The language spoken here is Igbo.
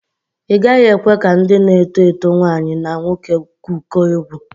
Ị gaghị ekwe ka ndị na-eto eto nwaanyi na nwoke gwụkọọ egwu.